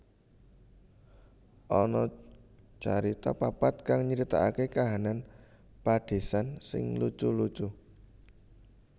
Ana carita papat kang nyritaaké kahanan padésan sing lucu lucu